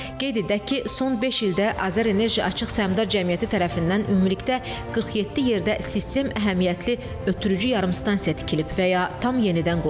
Qeyd edək ki, son beş ildə AzərEnerji Açıq Səhmdar Cəmiyyəti tərəfindən ümumilikdə 47 yerdə sistem əhəmiyyətli ötürücü yarımstansiya tikilib və ya tam yenidən qurulub.